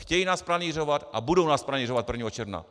Chtějí nás pranýřovat a budou nás pranýřovat 1. června!